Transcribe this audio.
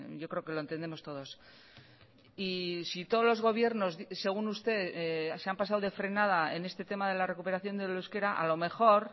yo creo que lo entendemos todos y si todos los gobiernos según usted se han pasado de frenada en este tema de la recuperación del euskera a lo mejor